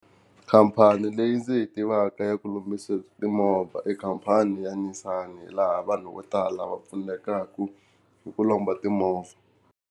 Khampani leyi ndzi yi tivaka ya ku lombisa timovha i khampani ya Nissan, laha vanhu vo tala va pfunekaka hi ku lomba timovha.